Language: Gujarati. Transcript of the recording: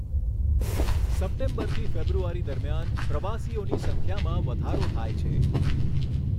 સપ્ટેમ્બરથી ફેબ્રુઆરી દરમિયાન પ્રવાસીઓની સંખ્યામાં વધારો થાય છે.